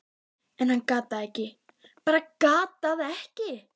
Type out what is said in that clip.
en hann gat það ekki, bara gat það ekki.